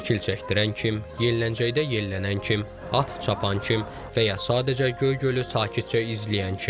Şəkil çəkdirən kim, yelləncəkdə yellənən kim, at çapan kim, və ya sadəcə Göygölü sakitcə izləyən kim.